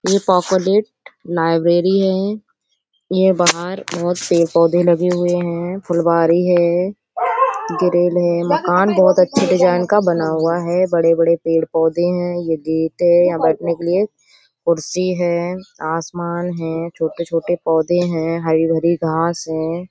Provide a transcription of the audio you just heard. ये पोकोनेत लाइब्रेरी है। ये बाहर बहुत पेड़-पौधे लगे हुए है फुलवारी है ग्रेल है मकान बहोत अच्छे डिजाइन बना का हुआ है। बड़े-बड़े पेड़-पौधे है। ये गेट है। बैठने के लिए कुर्सी है आसमान है छोटे-छोटे पौधे है। हरी-हरी घास है।